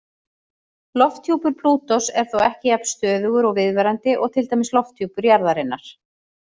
Lofthjúpur Plútós er þó ekki jafn stöðugur og viðvarandi og til dæmis lofthjúpur jarðarinnar.